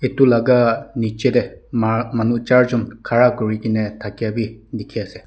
etu laga niche te manu charjun khara kuri kene thakia bi dikhi ase.